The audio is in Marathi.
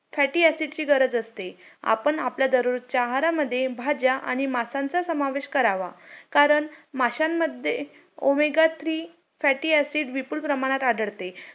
मी परत लातूर ला double गेले तिथं चांगला अभ्यास केला , मंग neet मध्ये मला पाचशे च्या वरती marks आले.